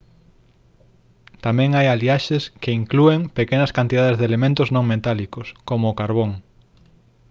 tamén hai aliaxes que inclúen pequenas cantidades de elementos non metálicos como o carbón